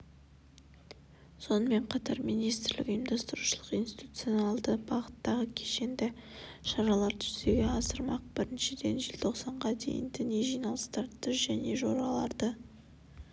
сонымен қатар министрлік ұйымдастырушылық-институционалды бағыттағы кешенді шараларды жүзеге асырмақ біріншіден желтоқсанға дейін діни жиналыстарды және жораларды